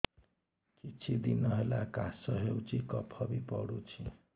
କିଛି ଦିନହେଲା କାଶ ହେଉଛି କଫ ବି ପଡୁଛି